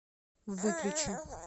выключи